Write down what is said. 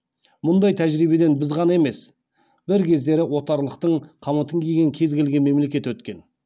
мұндай тәжірибеден біз ғана емес бір кездері отарлықтың қамытын киген кез келген мемлекет өткен